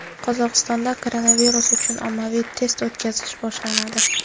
Qozog‘istonda koronavirus uchun ommaviy test o‘tkazish boshlanadi .